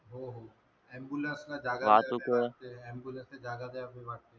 ambulance जागा द्यावा लागते ambulance जागा द्याव लागते.